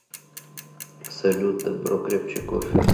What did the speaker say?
салют дабро крепче кофе